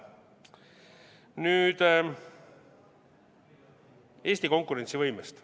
Nüüd Eesti konkurentsivõimest.